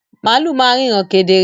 Màlú ma n ríran kedere